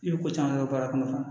I ye ko caman kɛ baara kɔnɔ